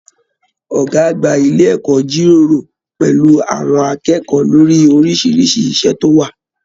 Ọgá àgbà ilé ẹ̀kọ́ jíròrò pẹlú àwọn akẹ́kọ̀ọ́ lórí orisirisi iṣẹ tó wà.